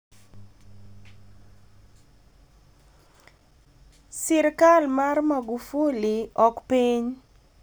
sirikal mar Magufuli ok piny